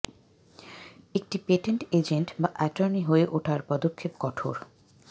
একটি patent agent বা attorney হয়ে উঠার পদক্ষেপ কঠোর